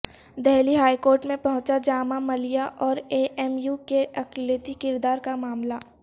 Delhi high court میں پہنچا جامعہ ملیہ اوراے ایم یو کے ا قلیتی کردارکا معاملہ